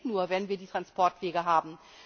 Das geht nur, wenn wir die Transportwege haben!